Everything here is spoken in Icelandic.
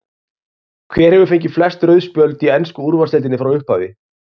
Hver hefur fengið flest rauð spjöld í ensku úrvalsdeildinni frá upphafi?